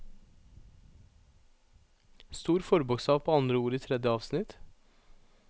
Stor forbokstav på andre ord i tredje avsnitt